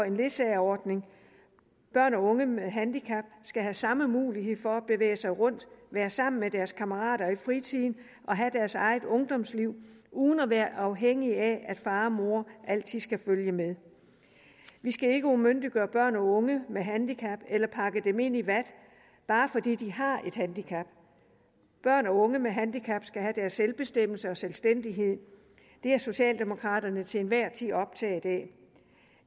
en ledsageordning børn og unge med handicap skal have samme mulighed for at bevæge sig rundt være sammen med deres kammerater i fritiden og have deres eget ungdomsliv uden at være afhængige af at far og mor altid skal følge med vi skal ikke umyndiggøre børn og unge med handicap eller pakke dem ind i vat bare fordi de har et handicap børn og unge med handicap skal have deres selvbestemmelse og selvstændighed det er socialdemokraterne til enhver tid optaget af det